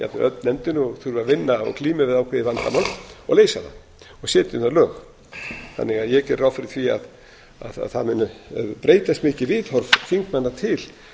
öll nefndin og þurfa að vinna og glíma við ákveðið vandamál og leysa það og setja um það lög ég geri því ráð fyrir því að það muni breytast mikið viðhorf þingmanna til